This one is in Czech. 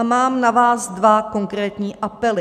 A mám na vás dva konkrétní apely.